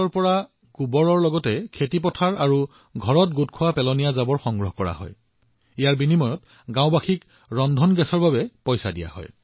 এই আৰ্হিৰ অধীনত গাওঁখনৰ কৃষকসকলৰ পৰা পথাৰ আৰু ঘৰৰ পৰা গোবৰ আৰু অন্যান্য আৱৰ্জনা সংগ্ৰহ কৰা হয় আৰু তাৰ বিনিময়ত গাওঁবাসীসকলক এলপিজি চিলিণ্ডাৰৰ বাবে পৰিশোধ কৰা হয়